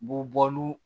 Bɔ bɔlɔngɔ